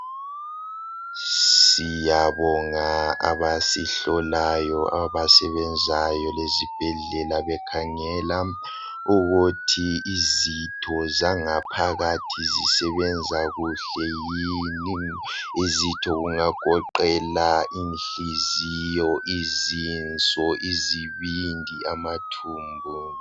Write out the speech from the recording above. Siyabonga abasihlolayo abasebenzayo ezibhedlela bekhangela ukuthi izitho zangaphakathi zisebenza kuhle yini. Izitho kungagoqela inhliziyo izinso, izibindi, amathumbu.